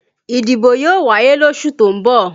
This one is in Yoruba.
Ìdìbò yóò wáyé losu tó ń bọ̀